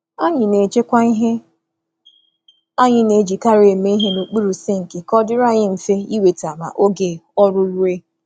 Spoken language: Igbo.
Anyị na-edobe ngwa anyị masịrị anyị n’okpuru sinki ka anyị nwee ike iji ha ngwa ngwa n’oge ọrụ ụlọ.